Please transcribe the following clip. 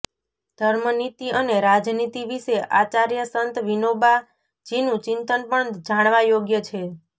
ધર્મનીતિ અને રાજનીતિ વિશે આચાર્ય સંત વિનોબાજીનું ચિંતન પણ જાણવા યોગ્ય છે